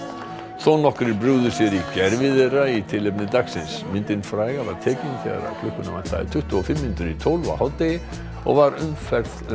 þónokkrir brugðu sér í gervi þeirra í tilefni dagsins myndin fræga var tekin þegar klukkuna vantaði tuttugu og fimm mínútur í tólf á hádegi og var umferð um